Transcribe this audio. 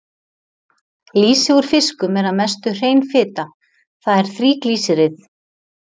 Lýsi úr fiskum er að mestu hrein fita, það er þríglýseríð.